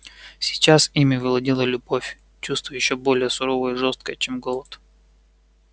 сейчас ими владела любовь чувство ещё более суровое и жестокое чем голод